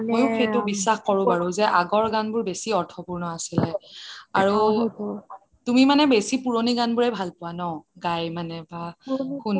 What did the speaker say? মইয়ো সেইটো বিশ্বাস কৰিব পাৰোঁ যে আগৰ গান বোৰ বেছি অৰ্থপূৰ্ণ আছিল তুমি মানে বেছি পুৰণি গান বোৰ ভাল পোৱা ন গায় মানে বা শুনি